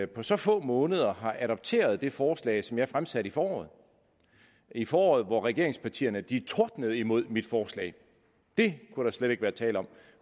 på så få måneder har adopteret det forslag som jeg fremsatte i foråret i foråret hvor regeringspartierne tordnede imod mit forslag det kunne der slet ikke være tale om